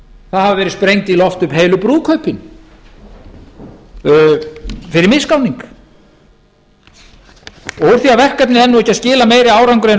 það hafa verið sprengd í loft upp heilu brúðkaupin fyrir misgáning úr því að verkefnið er nú ekki að skila meiri árangri en raun